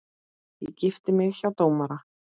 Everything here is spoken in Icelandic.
Ég gifti mig hjá dómara.